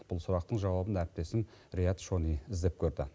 бұл сұрақтың жауабын әріптесім риат шони іздеп көрді